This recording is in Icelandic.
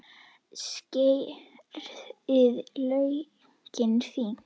Skerið laukinn fínt.